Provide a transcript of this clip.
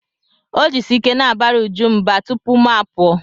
O jisi ike na-abara Uju mba tupu mụ apụọ.